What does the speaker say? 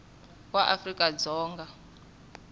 wa afrika dzonga a nga